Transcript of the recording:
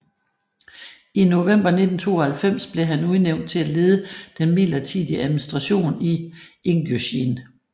I november 1992 blev han udnævnt til at lede den midlertidige administration i Ingusjien